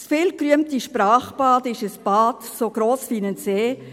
Das viel gerühmte Sprachbad ist ein Bad, so gross wie ein See.